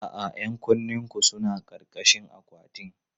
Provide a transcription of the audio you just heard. A'a, 'yan kunnenku suna ƙarƙashin akwatin.